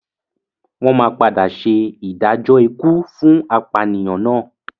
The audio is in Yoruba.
Wọ́n máa padà ṣe ìdájọ́ ikú fún apànìyàn náà.